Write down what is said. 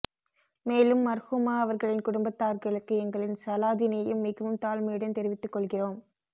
மேலும் மர்ஹூமா அவர்களின் குடும்பத்தார்களுக்கு எங்களின் சலாதினையும் மிகவும் தாழ்மையுடன் தெரிவித்து கொள்கிறோம்